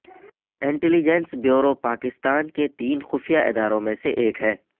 intelligence bureau Pakistan کے تین خفیہ اداروں میں سے ایک ہے